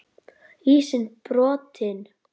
Ísinn brotinn